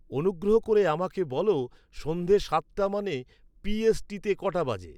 অনুগ্রহ করে আমাকে বল সন্ধ্যে সাতটা মানে পি. এস. টি. তে কটা বাজে